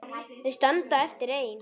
Þau standa eftir ein.